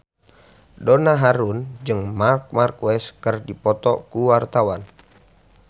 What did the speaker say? Donna Harun jeung Marc Marquez keur dipoto ku wartawan